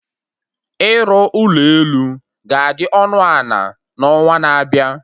Ịrụ ụlọ elu ga-adị ọnụ ana na onwa na-abịa